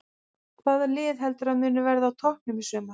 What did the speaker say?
Hvaða lið heldurðu að muni verða á toppnum í sumar?